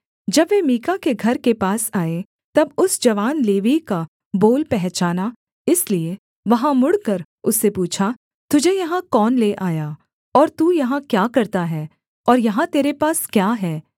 जब वे मीका के घर के पास आए तब उस जवान लेवीय का बोल पहचाना इसलिए वहाँ मुड़कर उससे पूछा तुझे यहाँ कौन ले आया और तू यहाँ क्या करता है और यहाँ तेरे पास क्या है